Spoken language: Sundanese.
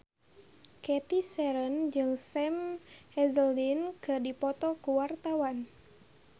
Cathy Sharon jeung Sam Hazeldine keur dipoto ku wartawan